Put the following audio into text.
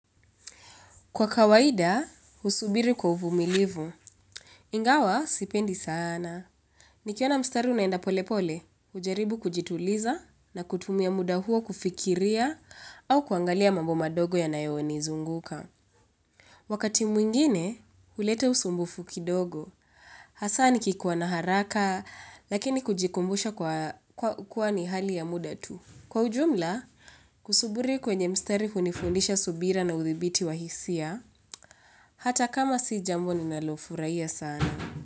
Kwa kawaida, husubiri kwa uvumilivu. Ingawa, sipendi sana. Nikiona mstari unaenda pole pole, hujaribu kujituliza na kutumia muda huo kufikiria au kuangalia mambo madogo yanayonizunguka. Wakati mwingine, huleta usumbufu kidogo. Hasa nikikuwa na haraka, lakini kujikumbusha kwa kuwa ni hali ya muda tu. Kwa ujumla, kusuburi kwenye mstari hunifundisha subira na udhibiti wa hisia. Hata kama si jambo ninalofurahia sana.